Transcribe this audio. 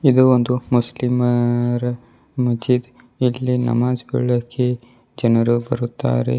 ಇದು ಒಂದು ಮುಸ್ಲಿಮರ ಮಜೀದ್ ಇಲ್ಲಿ ನಮಾಜ್ಗೊಳ್ಳೋಕೆ ಜನರು ಬರುತ್ತಾರೆ.